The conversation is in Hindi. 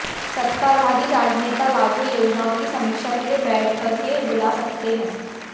सत्ताधारी राजनेता लागू योजनाओं की समीक्षा के लिए बैठकें बुला सकते हैं